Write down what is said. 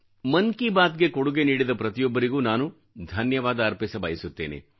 ಮನ್ ಕಿ ಬಾತ್ ಗೆ ಕೊಡುಗೆ ನೀಡಿದ ಪ್ರತಿಯೊಬ್ಬರಿಗೂ ನಾನು ಧನ್ಯವಾದ ಅರ್ಪಿಸಬಯಸುತ್ತೇನೆ